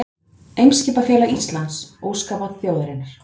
Eimskipafélag Íslands, óskabarn þjóðarinnar